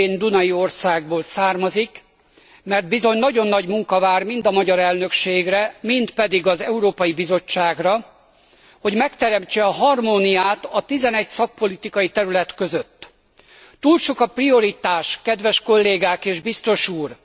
Szintén dunai országból származik, mert bizony nagyon nagy munka vár mind a magyar elnökségre, mind pedig az Európai Bizottságra, hogy megteremtse a harmóniát a 11 szakpolitikai terület között. Túl sok a prioritás, kedves kollégák és biztos úr!